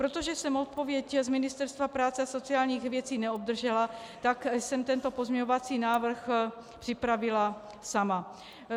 Protože jsem odpověď z Ministerstva práce a sociálních věcí neobdržela, tak jsem tento pozměňovací návrh připravila sama.